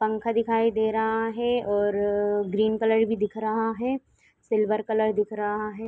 पंखा दिखाई दे रहा है और ग्रीन कलर भी दिख रहा है। सिल्वर कलर दिख रहा है।